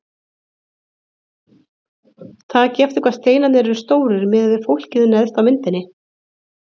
Takið eftir hvað steinarnir eru stórir miðað við fólkið neðst á myndinni.